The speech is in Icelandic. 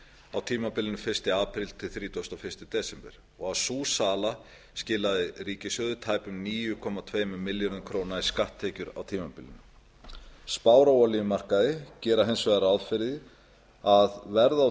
á tímabilinu fyrsta apríl til þrítugasta og fyrsta desember og að sú sala skilaði ríkissjóði tæpum níu komma tveimur milljörðum króna í skatttekjur á tímabilinu spár á olíumarkaði gera hins vegar ráð fyrir að verðið á